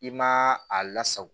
I ma a lasago